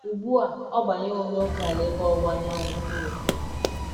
Ugbu a ọ banyewo m n’ókèala ebe ọwụwa anyanwụ Europe.